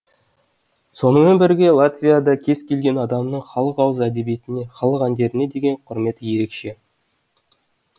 сонымен бірге латвияда кез келген адамның халық ауыз әдебиетіне халық әндеріне деген құрметі ерекше